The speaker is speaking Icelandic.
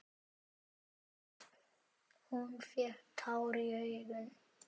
Hún fékk tár í augun.